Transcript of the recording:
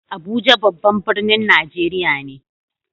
Abuja babban birnin Najeriya ne.